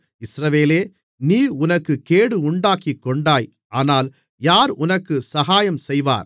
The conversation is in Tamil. இஸ்ரவேலே நீ உனக்குக் கேடு உண்டாக்கிக்கொண்டாய் ஆனால் யார் உனக்குச் சகாயம் செய்வார்